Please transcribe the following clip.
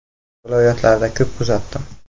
Viloyatlarda ko‘p kuzatdim.